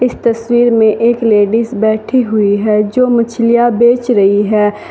इस तस्वीर में एक लेडिस बैठी हुई है जो मछलियां बेच रही है।